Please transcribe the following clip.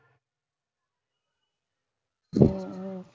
உம்